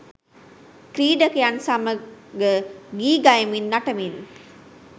ක්‍රීඩකයන් සමග ගී ගයමින් නටමින්